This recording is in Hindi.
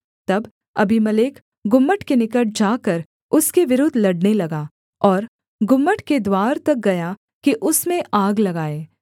तब अबीमेलेक गुम्मट के निकट जाकर उसके विरुद्ध लड़ने लगा और गुम्मट के द्वार तक गया कि उसमें आग लगाए